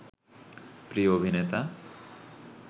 প্রিয় অভিনেতা